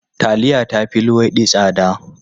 Taliya ta fi luwaiɗi tsada.